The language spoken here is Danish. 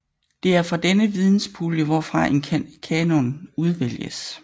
Det er fra denne videnspulje hvorfra en kanon udvælges